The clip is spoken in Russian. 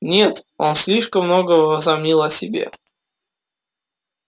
нет он слишком много возомнил о себе